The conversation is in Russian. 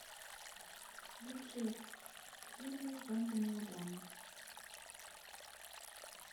лучшие фильмы в жанре мелодрама